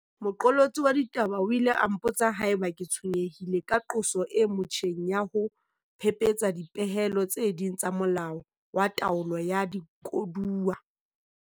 Moqolotsi wa ditaba o ile a mpotsa haeba ke tshwenyehile ka qoso e motjheng ya ho phephetsa dipehelo tse ding tsa Molao wa Taolo ya Dikoduwa.